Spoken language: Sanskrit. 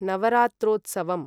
नवरात्रोत्सवम्